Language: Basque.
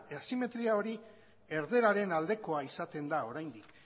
asimetria hori erdararen aldekoa izaten da oraindik